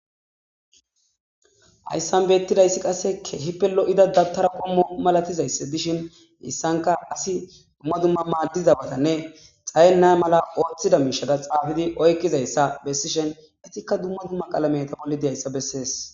ayssan beettidayssi qasse keehipelo7ida dabtara qommo malatizayss dishin issanka asi dumma dumma maaddizabatanne xayenna mala ooththida miishada xaafidi oykkizayssa bessishen itikka dumma dumma qalameta bolli dehayssa bessees